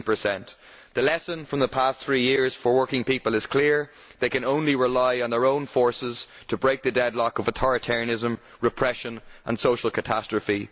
13. The lesson from the past three years for working people is clear they can only rely on their own forces to break the deadlock of authoritarianism, repression and social catastrophe.